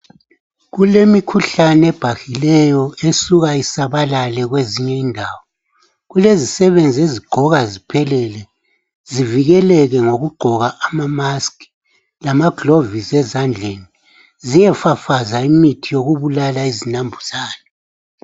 Kulemikhuhlane ebhahileyo esuka isabalale kwezinye indawo. Kulezisebenzi ezigqoka ziphelele zivikeleke ngokugqoka amamaski lamaglovisi ezandleni ziyefafaza imithi yokubulala izinambuzane.